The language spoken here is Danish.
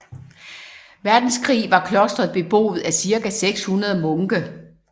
Verdenskrig var klostret beboet af cirka 600 munke